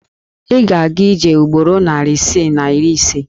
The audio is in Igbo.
Ị ga-aga ije ugboro narị isii na iri ise.